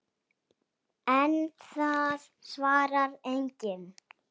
En það svarar enginn.